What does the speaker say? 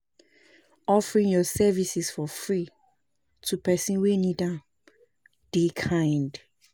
Offering yur services for free to pesin wey nid am dey kind.